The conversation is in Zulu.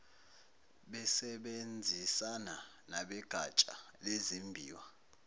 besebenzisana nabegatsha lezimbiwa